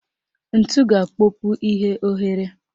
Ntu ga-akpọpu ihe oghere